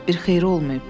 Bir xeyri olmayıb.